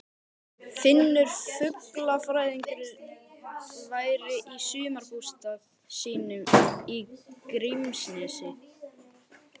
Finnur fuglafræðingur væri í sumarbústað sínum í Grímsnesi.